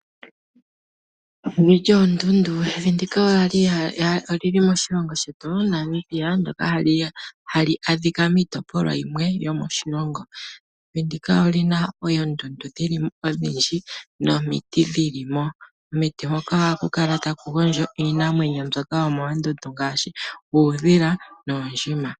Evi lyoondundu olili moshilongo shetu Namibia. Ohali adhika miitopolwa yimwe yomoshilongo. Evi ndika olina oondundu odhindji nomiti dhili mo. Momiti ohamu gondjo iinamwenyo yomoondundu ngaashi uudhila noondjima.